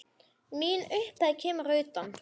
Mín upphefð kemur að utan.